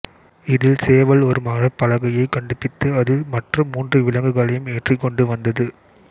இதில் சேவல் ஒரு மரப்பலகையை கண்டுபித்து அதில் மற்ற மூன்று விலங்குகளையும் ஏற்றிக்கொண்டு வந்தது